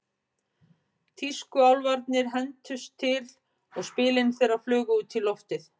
Tískuálfarnir hentust til og spilin þeirra flugu út í loftið.